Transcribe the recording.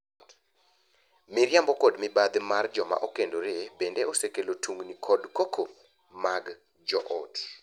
Miriambo kod mibadhi mar joma okendore bende osekelo tungni kod koko mag joot.